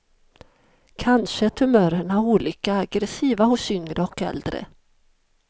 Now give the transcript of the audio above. Kanske är tumörerna olika aggressiva hos yngre och äldre.